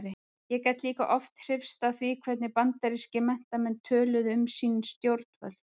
Ég gat líka oft hrifist af því hvernig bandarískir menntamenn töluðu um sín stjórnvöld.